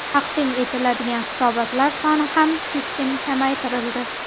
Taqdim etiladigan hisobotlar soni ham keskin kamaytirildi.